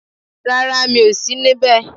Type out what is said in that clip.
Rárá mi ò sí níbè